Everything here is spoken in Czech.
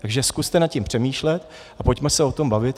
Takže zkuste nad tím přemýšlet a pojďme se o tom bavit.